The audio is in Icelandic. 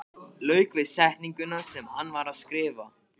Lauk við setninguna sem hann var að skrifa.